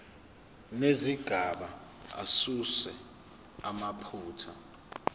nezigaba asuse amaphutha